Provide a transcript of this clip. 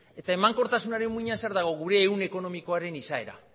eta emankortasunaren muinean zer dago gure egun ekonomikoaren izaera